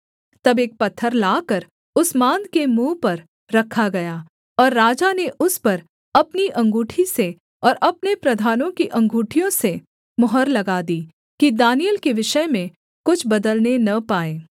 तब एक पत्थर लाकर उस माँद के मुँह पर रखा गया और राजा ने उस पर अपनी अंगूठी से और अपने प्रधानों की अँगूठियों से मुहर लगा दी कि दानिय्येल के विषय में कुछ बदलने न पाए